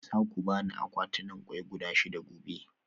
Za ku ba ni akwatunan kwai guda shida gobe?